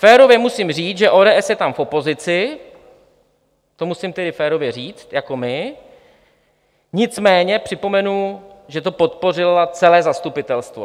Férově musím říct, že ODS je tam v opozici, to musím tedy férově říct, jako my, nicméně připomenu, že to podpořilo celé zastupitelstvo.